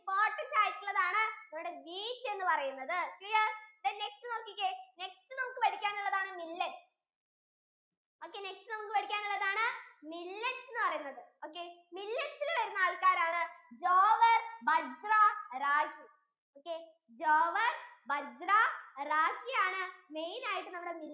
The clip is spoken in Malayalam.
bajra ragi നോക്കിയേ jowar bajra ragi ആണ് main ആയിട്ട് നമ്മൾ